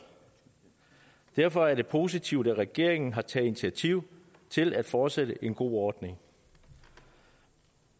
derfor er det positivt at regeringen har taget initiativ til at fortsætte en god ordning